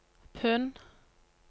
pund